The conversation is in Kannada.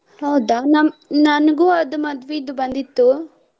ಹೌದಾ ನಮ್ಮ್ ನನ್ಗು ಅದ್ ಮದ್ವಿದ್ ಬಂದಿತ್ತು.